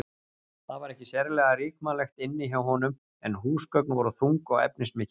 Það var ekki sérlega ríkmannlegt inni hjá honum en húsgögn voru þung og efnismikil.